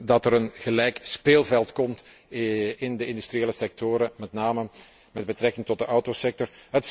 dat er een gelijkwaardig speelveld komt in de industriële sectoren, met name met betrekking tot de autosector.